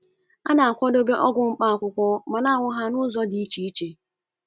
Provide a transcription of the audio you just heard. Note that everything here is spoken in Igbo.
A na - akwadebe ọgwụ mkpá akwụkwọ ma na - aṅụ ha n’ụzọ dị iche iche.